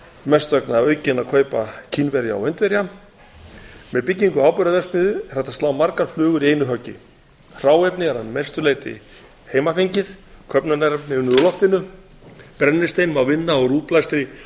mest vegna aukinna kaupa kínverja og indverja með byggingu áburðarverksmiðju er hægt að slá margar flugur í einu höggi hráefnið er að mestu leyti heimafengið köfnunarefni unnið úr loftinu brennistein má vinna úr útblæstri